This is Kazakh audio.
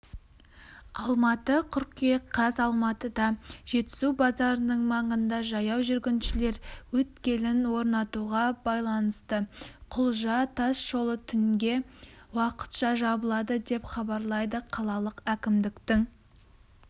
алматы қыркүйек қаз алматыда жетісу базарының маңында жаяу жүргіншілер өткелін орнатуға байланыстықұлжа тас жолы түнге уақытша жабылады деп хабарлайды қалалық әкімдіктің